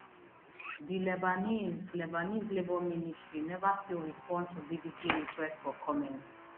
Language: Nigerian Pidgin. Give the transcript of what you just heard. di lebanese lebanese labour ministry neva still respond to bbc request for comment